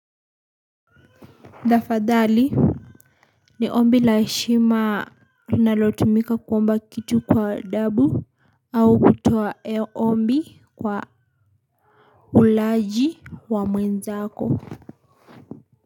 Tafadhali. Ni ombi la heshima, tunalotumika kuomba kitu kwa adabu au kutoa ombi kwa. Ulaji wa mwenzako.